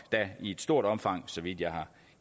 i et stort omfang så vidt jeg har